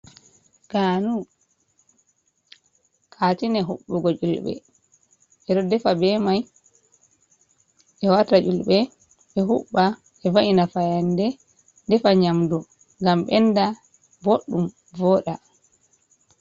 Ganu katine huɓɓugo yulɓe, ɓe ɗo ɗefa ɓe mai ɓe wata yulɓe ɓe huɓɓa ,ɓe va’ina fayanɗe ɗefa nyamɗu gam ɓenɗa ɓoɗɗum voda.